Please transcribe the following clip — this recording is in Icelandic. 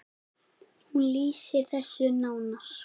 Hún lýsir þessu nánar.